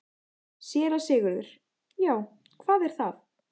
SÉRA SIGURÐUR: Já, hvað er það?